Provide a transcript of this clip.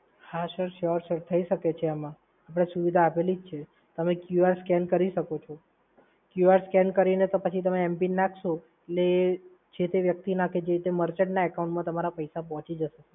હા sir, sure sir થઈ શકે છે એમાં. એ સુવિધા આપેલી જ છે. હવે QRscan કરી શકો છો. QR scan કરીને તમે એમા MPIN નાખશો એ જે તે વ્યક્તિના કે merchant account માં તમારા પૈસા પહોંચી જશે.